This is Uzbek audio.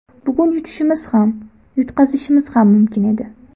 Bugun yutishimiz ham, yutqazishimiz ham mumkin edi.